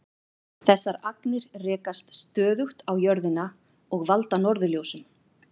Þessar agnir rekast stöðugt á jörðina og valda norðurljósum.